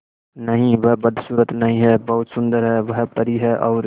नहीं वह बदसूरत नहीं है बहुत सुंदर है वह परी है और